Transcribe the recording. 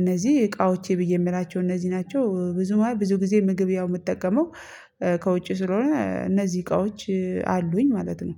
እነዚህ እቃዎቼ ብዬ የምላቸው እነዚህ ናቸው። ብዙ ብዙ ጊዜ ምግብ ያው የምጠቀመው ከውጪ ስለሆነ እነዚህ እቃዎች አሉኝ ማለት ነው።